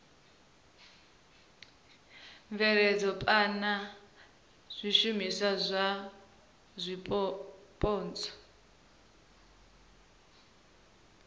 bveledza phana zwishumiswa zwa zwipotso